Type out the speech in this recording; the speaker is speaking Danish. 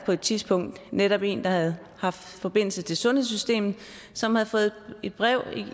på et tidspunkt netop en der havde haft forbindelse til sundhedssystemet som havde fået et brev